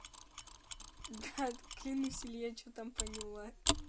да клянусь если я чего там поняла